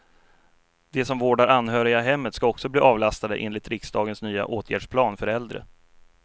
De som vårdar anhöriga i hemmet ska också bli avlastade, enligt riksdagens nya åtgärdsplan för äldre.